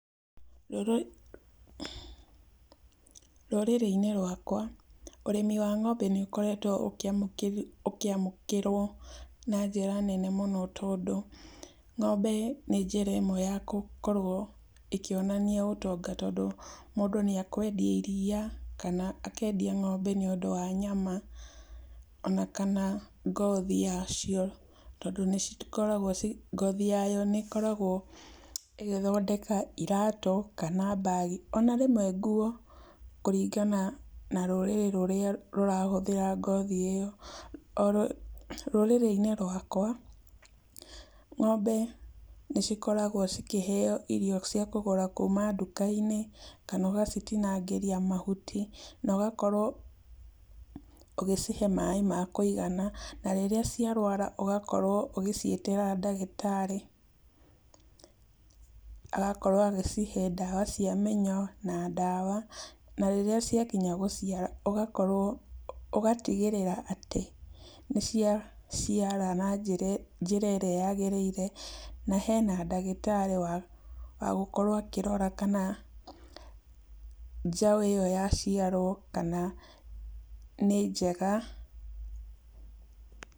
Rũrĩ rũrĩrĩ-inĩ rwakwa ũrĩmi wa ng'ombe nĩ ũkoretwo ũkĩamũkĩrwo na njĩra nene mũno tondũ, ng'ombe nĩ njĩra ĩmwe ya gũkorwo ĩkĩonania ũtonga tondũ mũndũ nĩ akwendia iria, kana akendia ngombe nĩ ũndũ wa nyama, ona kana ngothi yacio, tondũ nĩ cikoragwo ngothi yayo nĩ ĩkoragwo ĩgĩthondeka iratũ kana mbagi ona rĩmwe nguo, kũringana na rũrĩrĩ rũrĩa rũrahũthĩra ngothi ĩyo, rũrĩrĩ-inĩ rwakwa, ng'ombe nĩ cikoragwo cikĩheyo irio cia kũgũra kuuma nduka-inĩ, kana ũgacitinagĩria mahuti na ũgakorwo ũgĩcihe maĩ ma kũigana, na rĩrĩa ciarwara ũgakorwo ũgĩciĩtĩra ndagĩtarĩ agakorwo agĩcihe ndawa cia mĩnyoo na ndawa, na rĩrĩa ciakinya gũciara ũgakorwo, ũgatigĩrĩra atĩ nĩ cia ciara na njĩra ĩrĩa yagĩrĩire, na hena ndagĩtarĩ wa gũkorwo akĩrora, kana njau ĩyo yaciarwo, kana nĩ njega.